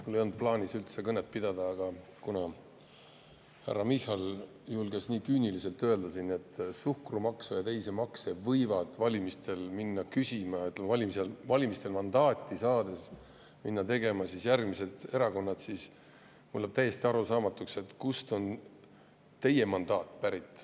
Mul ei olnud plaanis üldse kõnet pidada, aga kuna härra Michal julges nii küüniliselt öelda, et suhkrumaksu ja teisi makse võivad valimistel minna küsima järgmised erakonnad, et valimistel mandaati saada, siis mulle jääb täiesti arusaamatuks, kust on teie mandaat pärit.